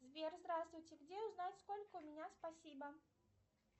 сбер здравствуйте где узнать сколько у меня спасибо